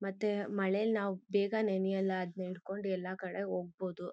ಮತ್ತೆ ಮಳೇಲಿ ನಾವು ಬೇಗ ನೆನೆಯಲ್ಲ ಅದ್ನ ಹಿಡ್ಕೊಂಡು ಎಲ್ಲ ಕಡೆ ಹೋಗ್ಬಹುದು.